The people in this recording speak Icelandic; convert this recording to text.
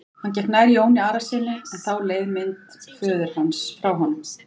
Hann gekk nær Jóni Arasyni en þá leið mynd föður hans frá honum.